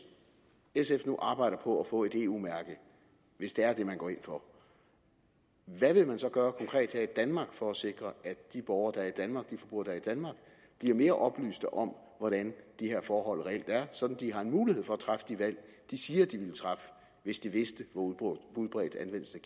sf nu arbejder på at få et eu mærke hvis det er det man går ind for hvad vil man så gøre konkret her i danmark for at sikre at de borgere der er i danmark bliver mere oplyste om hvordan de her forhold reelt er sådan at de har en mulighed for at træffe de valg de siger de ville træffe hvis de vidste hvor udbredt anvendelsen